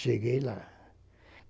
Cheguei lá.